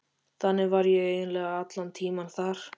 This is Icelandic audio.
Þannig var ég eiginlega allan tímann þar.